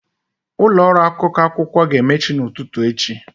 Ụlọ ọrụ akwụkwọ akụkọ ga-emechi n'ụtụtụ echi.